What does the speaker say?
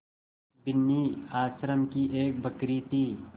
बिन्नी आश्रम की एक बकरी थी